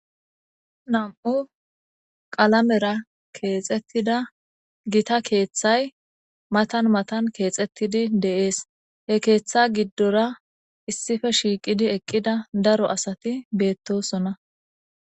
Nam'u qalamera kexetida gitta keththay matan matan kexetidi de'ess he keththa gidora issippe shiqidi eqida daro asati bettosona